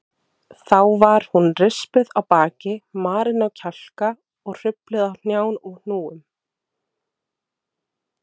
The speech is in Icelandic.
Þá var hún rispuð á baki, marin á kjálka og hrufluð á hnjám og hnúum.